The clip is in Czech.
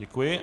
Děkuji.